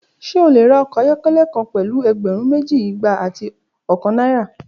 Ṣe o le ra ọkọ ayọkẹlẹ kan pẹlu ẹgbẹrun meji, igba ati ọkan naira?